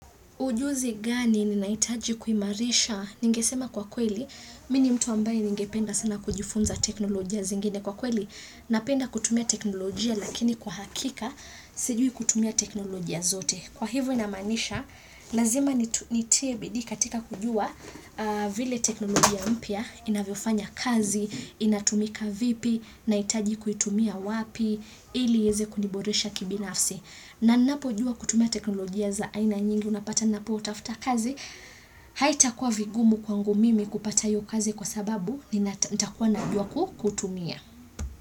Ujuzi gani ninaitaji kuimarisha? Ningesema kwa kweli, mi ni mtu ambaye ningependa sana kujifunza teknolojia zingine. Kwa kweli, napenda kutumia teknolojia, lakini kwa hakika, sijui kutumia teknolojia zote. Kwa hivo inamaanisha, lazima nitie bidii katika kujua vile teknolojia mpya, inavyofanya kazi, inatumika vipi, naitaji kuitumia wapi, ili ieze kuniboresha kibinafsi. Na ninapo jua kutumia teknolojia za aina nyingi unapata napo tafuta kazi, haitakuwa vigumu kwangu mimi kupata hiyo kazi kwa sababu ni ntakuwa najua kutumia.